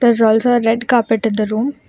Does also a red carpet at the room.